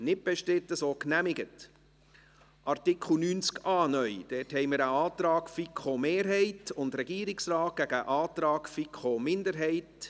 Ich gebe zuerst dem Präsidenten der FiKo das Wort, Daniel Bichsel.